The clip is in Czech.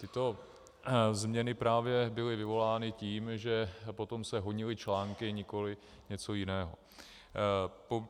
Tyto změny právě byly vyvolány tím, že potom se honily články, nikoliv něco jiného.